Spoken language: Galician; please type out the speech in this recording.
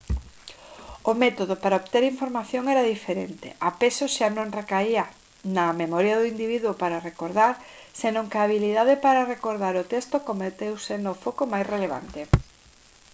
o método para obter información era diferente a peso xa non recaía na memoria do individuo para recordar senón que a habilidade para recordar o texto converteuse no foco máis relevante